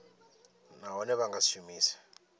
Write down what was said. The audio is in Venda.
nahone vha nga si shumise